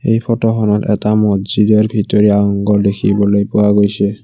এই ফটোখনত এটা মজিদৰ ভিতৰি অংগ দেখিবলৈ পোৱা গৈছে।